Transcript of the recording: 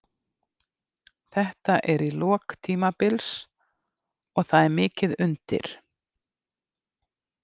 Þetta er í lok tímabils og það er mikið undir.